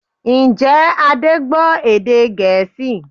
Ǹjẹ́ Adé gbọ́ èdè Gẹ̀ẹ́sì?